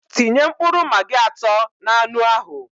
Tinye mkpụrụ magi atọ n'anu ahụ